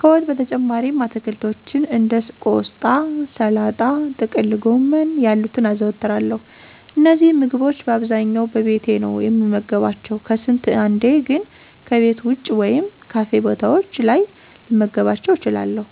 ከወጥ በተጨማሪም አትክልቶችን እንደ ቆስጣ፣ ሰላጣ፣ ጥቅልጎመን ያሉትን አዘወትራለሁ። እነዚህንም ምግቦች በአብዛኛው በቤቴ ነው የምመገባቸው፤ ከስንት አንዴ ግን ከቤት ወጭ ወይም ካፌ ቦታዎች ላይ ልመገባቸው እችላለሁ።